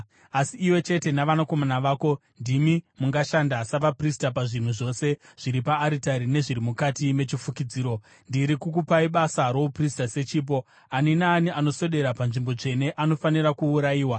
Asi iwe chete navanakomana vako ndimi mungashanda savaprista pazvinhu zvose zviri paaritari nezviri mukati mechifukidziro. Ndiri kukupai basa rouprista sechipo. Ani naani anoswedera panzvimbo tsvene anofanira kuurayiwa.”